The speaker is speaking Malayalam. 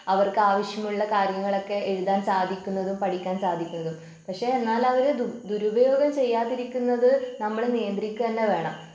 അവർക്ക് ആവശ്യമുള്ള കാര്യങ്ങളൊക്കെ എഴുതാൻ സാധിക്കുന്നതും പഠിക്കാൻ സാധിക്കുന്നതും പക്ഷേ എന്നാൽ അവര് ദു ദുരുപയോഗം ചെയ്യാതിരിക്കുന്നത് നമ്മള് നിയന്ത്രിക്കുക തന്നെ വേണം.